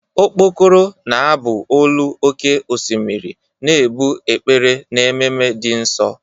Mkpokoro na-abụ olu oké osimiri, na-ebu ekpere n'ememe dị nsọ.